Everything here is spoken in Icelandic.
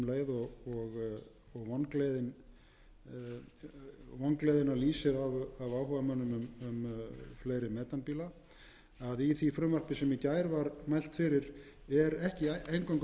af áhugamönnum um fleiri metanbíla að í því frumvarpi sem í gær var mælt fyrir er ekki eingöngu fjallað um nýja